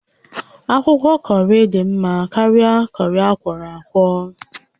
Akwụkwọ kọrị dị mma karịa kọrị akwọrọ akwọ